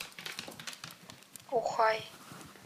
ухай